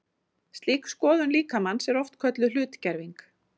Slík skoðun líkamans er oft kölluð hlutgerving.